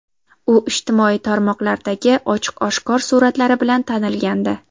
U ijtimoiy tarmoqlardagi ochiq-oshkor suratlari bilan tanilgandi.